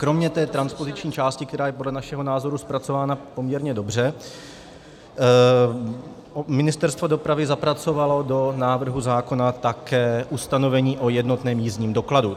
Kromě té transpoziční části, která je podle našeho názoru zpracována poměrně dobře, Ministerstvo dopravy zapracovalo do návrhu zákona také ustanovení o jednotném jízdním dokladu.